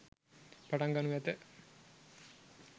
පටන් ගනු ඇත.